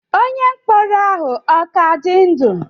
Onye mkpọrọ ahụ ọ ka dị ndụ?